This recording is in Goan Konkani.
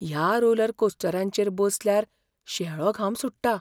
ह्या रोलरकोस्टरांचेर बसल्यार शेळो घाम सुट्टा.